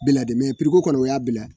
Biladame priko kɔnɔ o y'a bila.